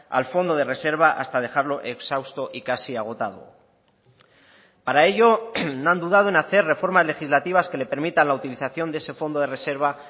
al fondo de reserva hasta dejarlo exhausto y casi agotado para ello no han dudado en hacer reformas legislativas que le permitan la utilización de ese fondo de reserva